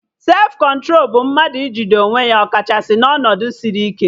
Sefụ kọntro bụ mmadụ ijide onwe ya ọ kachasị na ọnọdụ sịrị ike